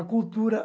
A Cultura